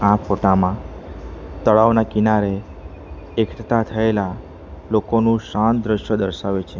આ ફોટા માં તળાવના કિનારે એકટતા થયેલા લોકોનું શાંત દ્રશ્ય દર્શાવે છે.